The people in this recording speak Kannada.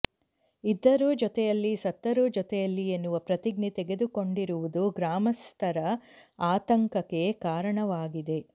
ಇದ್ದರು ಜೊತೆಯಲ್ಲಿ ಸತ್ತರೂ ಜೊತೆಯಲ್ಲಿ ಎನ್ನುವ ಪ್ರತಿಜ್ಞೆ ತೆಗೆದುಕೊಂಡಿರುವುದು ಗ್ರಾಮಸ್ಥರ ಆತಂಕಕ್ಕೆ ಕಾರಣವಾಗಿದೆ